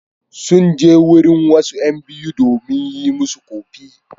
Sun je wurin wasu ƴan biyu domin su yi musu ƙofi.